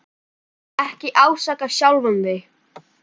Ekki ásaka sjálfan þig.